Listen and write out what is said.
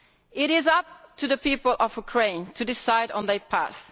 It is up to the people of Ukraine to decide on their path.